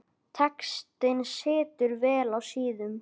Textinn situr vel á síðum.